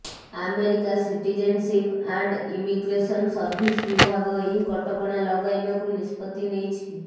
America citizenship and immigration service ବିଭାଗ ଏହି କଟକଣା ଲଗାଇବାକୁ ନିଷ୍ପତ୍ତି ନେଇଛି